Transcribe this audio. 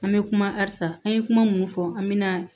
An bɛ kuma asa an ye kuma minnu fɔ an bɛ na